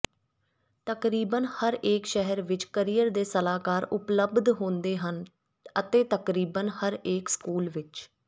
ਤਕਰੀਬਨ ਹਰੇਕ ਸ਼ਹਿਰ ਵਿਚ ਕਰੀਅਰ ਦੇ ਸਲਾਹਕਾਰ ਉਪਲਬਧ ਹੁੰਦੇ ਹਨ ਅਤੇ ਤਕਰੀਬਨ ਹਰੇਕ ਸਕੂਲ ਵਿਚ